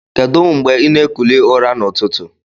Kedu ngbe ina ekuli ụra na ụtụtụ?